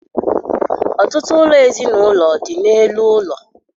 Ọtụtụ ụlọ ezinaụlọ dị n'elu ụlọ.